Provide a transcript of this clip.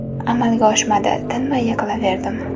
Amalga oshmadi, tinmay yiqilaverdim.